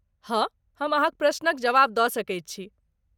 हँ, हम अहाँक प्रश्नक जवाब दऽ सकैत छी।